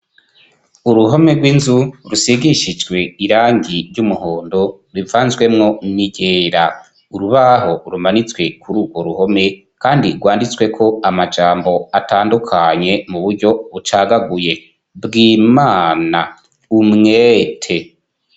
Uruhome rw'inzu, rusigishijwe irangi ry'umuhondo rivanzwemwo n'iryera, urubaho rumanitswe kuri urwo ruhome, kandi rwanditsweko amajambo atandukanye muburyo bucagaguye, bwi-ma-na, u-mwe-te.